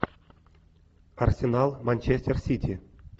арсенал манчестер сити